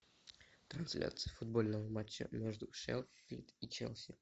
трансляция футбольного матча между шеффилд и челси